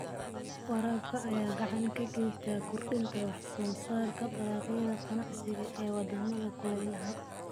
Waraabka ayaa gacan ka geysta kordhinta wax soo saarka dalagyada ganacsiga ee wadamada kulaylaha.